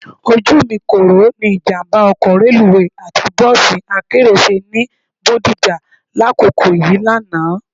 Ojú mi kòró ni ìjàmbá ọkọ̀ reluwé àti bọ́ọ̀sì akérò ṣe ní Bodija lákòókò yìí lánàá